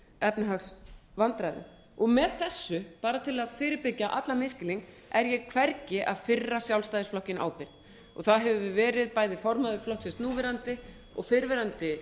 eða þessum efnahagsvandræðum með þessu bara til að fyrirbyggja allan misskilning er ég hvergi að fyrra sjálfstæðisflokkinn ábyrgð það hefur verið bæði formaður flokksins núverandi og fyrrverandi